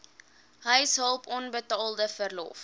huishulp onbetaalde verlof